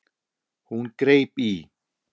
Hún greip í